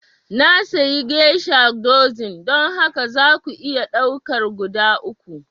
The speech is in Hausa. Na sayi geisha dozin, don haka za ku iya ɗaukar guda uku